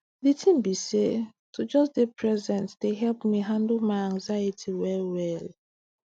di tin be say to just dey present dey help me handle my anxiety well well